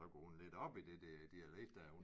Så går hun lidt op i det der dialekt dér